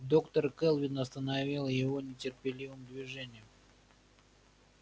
доктор кэлвин остановила его нетерпеливым движением